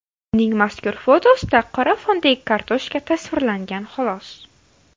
Uning mazkur fotosida qora fondagi kartoshka tasvirlangan, xolos.